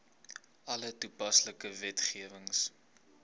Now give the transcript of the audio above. alle toepaslike wetgewing